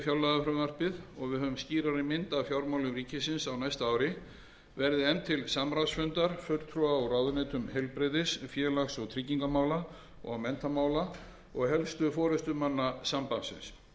við höfum skýrari mynd af fjármálum ríkisins á næsta ári verði efnt til samráðsfundar fulltrúa úr ráðuneytum heilbrigðis félags og tryggingamála og menntamála og helstu forustumanna sambandsins þar mun aðilum